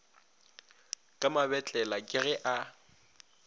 ka mabetlela ka ge a